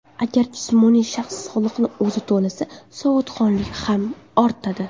Agar jismoniy shaxs soliqni o‘zi to‘lasa, savodxonlik ham ortadi.